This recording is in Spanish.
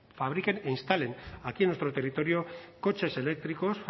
fabriquen e instalen aquí en nuestro territorio coches eléctricos